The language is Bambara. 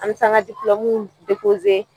An bɛ taa an ka diplɔmuw